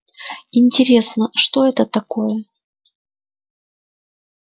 интересно что это такое